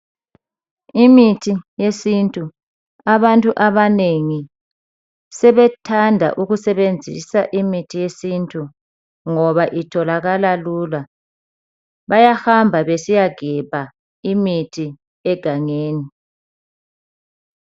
Imithi yesiNtu sithanda ukusetshenziswa ngabantu abanengi ngoba itholakala lula. Bayahamba besiyagebha imithi egangeni.